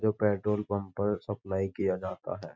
जो petrol pump पर supply किया जाता है।